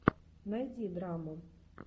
найди драму